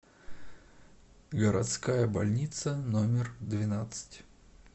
городская больница номер двенадцать